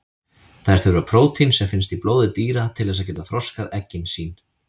Þær þurfa prótín sem finnst í blóði dýra til þess að geta þroskað eggin sín.